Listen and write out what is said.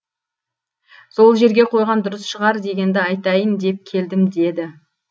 сол жерге қойған дұрыс шығар дегенді айтайын деп келдім деді